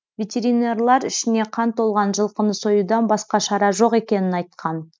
ветеринарлар ішіне қан толған жылқыны союдан басқа шара жоқ екенін айтқан